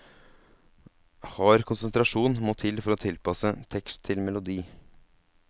Hard konsentrasjon må til for å tilpasse tekst til melodi.